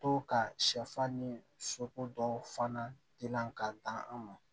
To ka sɛfan ni soko dɔw fana dilan k'a dan an ma